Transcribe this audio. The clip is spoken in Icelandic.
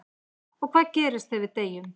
En hvað gerist þegar við deyjum?